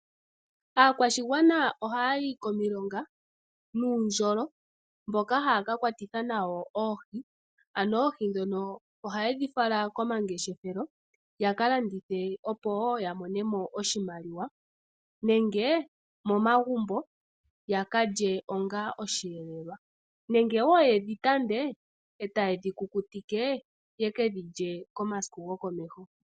Aakwashigwana oha yayi komilknga nuundjolo mboka haya ka kwatitha nawo oohi ano oohi ndhono oha yedhi fala komangeshefelo ya kalandithe opo woo yamonemo oshimaliwa nenge momagumbo ya kalye onga osheelelwa nenge woo yedhi tande etaye dhi kukutike yeke dhilye komasiku gokomeho.